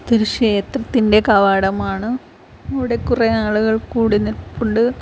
ഇത് ക്ഷേത്രത്തിൻ്റെ കവാടമാണ് ഇവടെ കുറേ ആളുകൾ കൂടി നിൽപ്പുണ്ട്.